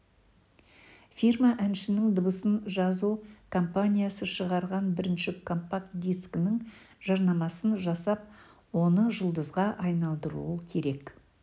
фирма әншінің дыбыс жазу компаниясы шығарған бірінші компакт дискінің жарнамасын жасап оны жұлдызға айналдыруы керек